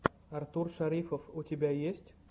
артур шарифов у тебя есть